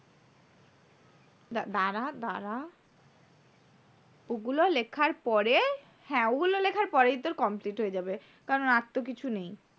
দ্বারা দ্বারা ওগুলো লেখার পরে হ্যাঁ ওগুলো লেখার পরেই তোর complete হয়ে যাবে। কারণ আর তো কিছু নেই